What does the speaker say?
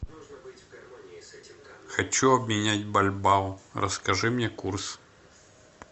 хочу обменять бальбоа расскажи мне курс